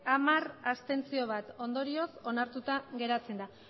hamar abstentzioak bat ondorioz onartuta geratzen da